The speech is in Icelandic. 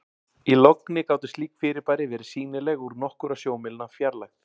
í logni gátu slík fyrirbæri verið sýnileg úr nokkurra sjómílna fjarlægð